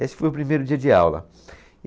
Esse foi o primeiro dia de aula.